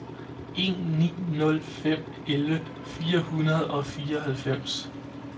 en ni nul fem elleve fire hundrede og fireoghalvfems